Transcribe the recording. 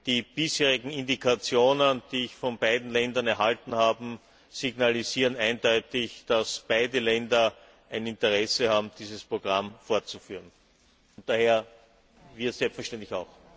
Die bisherigen Indikationen, die ich von beiden Ländern erhalten habe, signalisieren eindeutig, dass beide Länder ein Interesse haben, dieses Programm fortzuführen, und daher wir selbstverständlich auch.